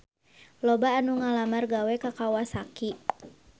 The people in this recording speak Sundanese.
Loba anu ngalamar gawe ka Kawasaki